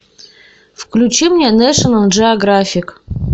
включи мне нэшнл джеографик